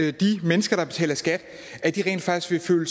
at de mennesker der betaler skat rent faktisk vil